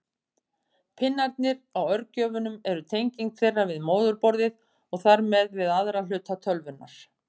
Pinnarnir á örgjörvum eru tenging þeirra við móðurborðið og þar með við aðra hluta tölvunnar.